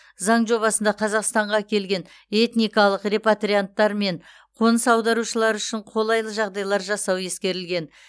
заң жобасында қазақстанға келген этникалық репатрианттар мен қоныс аударушылар үшін қолайлы жағдайлар жасау ескерілген